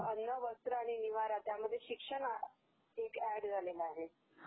अन्न, वस्त्र, निवारा त्यात शिक्षण ऍड झालेलं आहे..